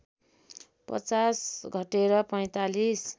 पचास घटेर ४५